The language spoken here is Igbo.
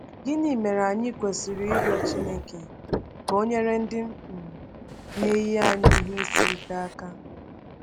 Gịnị mere anyị kwesịrị ịrịọ Chineke ka o nyere ndị um na-eyi anyị ihe isi ike aka?